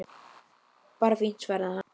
Bara fínt- svaraði hann.